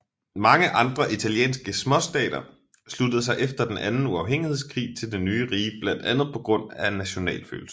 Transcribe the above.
Mange andre italienske småstater sluttede sig efter den anden uafhængighedskrig til det nye rige blandt andet på grund af nationalfølelse